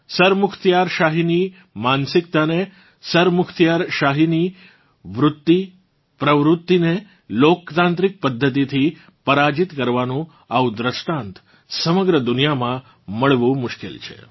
સરમુખત્યારશાહીની માનસિકતાને સરમુખત્યારશાહીની વૃતિપ્રવૃતીને લોકતાંત્રિક પધ્ધતિથી પરાજીત કરવાનું આવું દૃષ્ટાંત સમગ્ર દુનિયામાં મળવું મુશ્કેલ છે